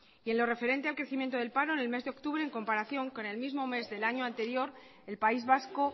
y en lo referente al crecimiento del paro en el mes de octubre en comparación con el mismo mes del año anterior el país vasco